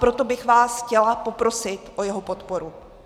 Proto bych vás chtěla poprosit o jeho podporu.